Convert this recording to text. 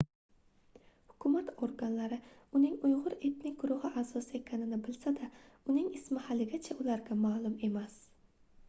hukumat organlari uning uygʻur etnik guruhi aʼzosi ekanini bilsa-da uning ismi haligacha ularga maʼlum emas